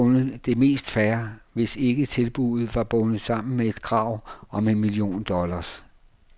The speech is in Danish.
Jeg ville have fundet det mest fair, hvis ikke tilbuddet var bundet sammen med et krav om en million dollars.